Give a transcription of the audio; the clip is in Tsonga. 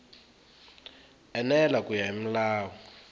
enela ku ya hi milawu